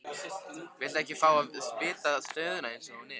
Viltu ekki fá að vita stöðuna eins og hún er?